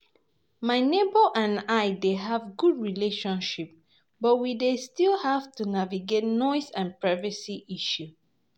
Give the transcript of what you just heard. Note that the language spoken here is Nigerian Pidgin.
My neighbors and I dey have good relationship, but we dey still have to navigate noise and privacy issues.